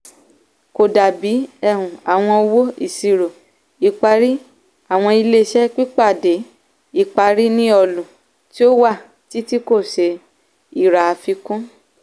kò dàbí um àwọn owó-ìṣìró-ìparí àwọn ilé-iṣẹ́ pípàdé-ìparí ní ọlú tí ó wà títí kò ṣe ìrà àfikún.